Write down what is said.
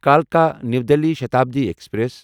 کَلکا new Delhi Shatabdi express